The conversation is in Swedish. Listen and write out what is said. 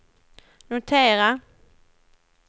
notera